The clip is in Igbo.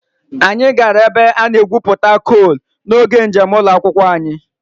Anyị gara ebe a na-egwupụta coal n'oge njem ụlọ akwụkwọ anyị